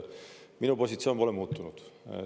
Minu positsioon pole muutunud.